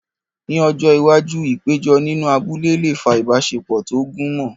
Ní ọjọ́ iwájú, ìpéjọ nínú abúlé lè fa ìbáṣepọ̀ tó gúnmọ́.